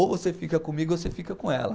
Ou você fica comigo ou você fica com ela.